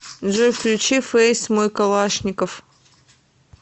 джой включи фэйс мой калашников